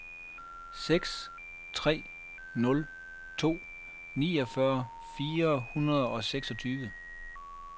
seks tre nul to niogfyrre fire hundrede og seksogtyve